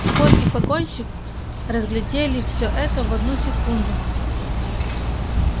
скотт и погонщик разглядели всё это в одну секунду